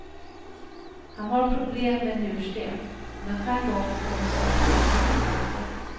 Han har problem med njursten, och den här gången kom smärtorna mitt i natten.